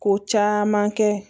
Ko caman kɛ